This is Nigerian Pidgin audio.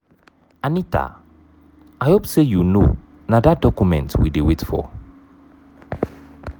anita i hope say you no na dat document we dey wait for.